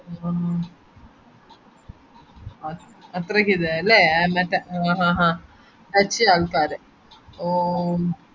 ആഹ് അത്രക്കില്ലലെ അ ആഹ് ആഹ് ആഹ് ആള്ക്കാര് ഓ